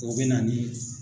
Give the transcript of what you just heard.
O bɛ na ni